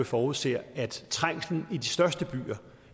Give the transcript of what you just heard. forudser at trængslen i de største byer